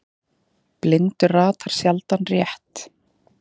Blindur ratar sjaldan rétt.